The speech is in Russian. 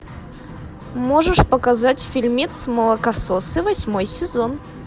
можешь показать фильмец молокососы восьмой сезон